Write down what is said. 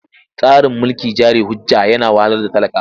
Tsarin mulkin jari hujja yana wahalar da talaka.